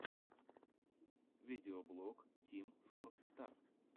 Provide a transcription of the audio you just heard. видеоблог тим фор стар